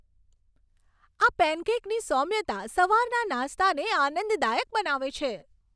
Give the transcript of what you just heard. આ પેનકેકની સૌમ્યતા સવારના નાસ્તાને આનંદદાયક બનાવે છે.